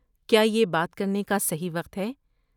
کیا یہ بات کرنے کا صحیح وقت ہے؟